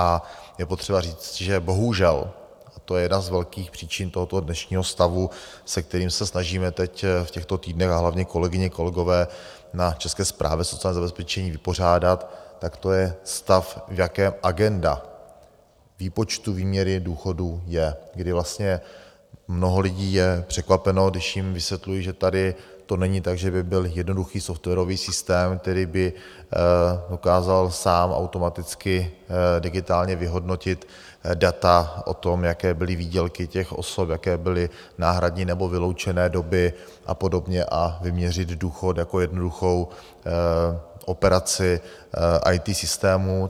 A je potřeba říct, že bohužel, a to je jedna z velkých příčin tohoto dnešního stavu, se kterým se snažíme teď v těchto týdnech, a hlavně kolegyně, kolegové na České správě sociálního zabezpečení vypořádat, tak to je stav, v jakém agenda výpočtu výměry důchodů je, kdy vlastně mnoho lidí je překvapeno, když jim vysvětluji, že tady to není tak, že by byl jednoduchý softwarový systém, který by dokázal sám, automaticky, digitálně vyhodnotit data o tom, jaké byly výdělky těch osob, jaké byly náhradní nebo vyloučené doby a podobně, a vyměřit důchod jako jednoduchou operaci IT systému.